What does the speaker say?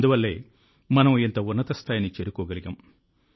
అందువల్లే మనం ఇంత ఉన్నత స్థాయిని చేరుకోగలిగాం